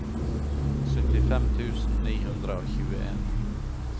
syttifem tusen ni hundre og tjueen